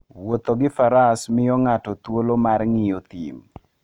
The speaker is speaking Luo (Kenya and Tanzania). Wuotho gi faras miyo ng'ato thuolo mar ng'iyo thim.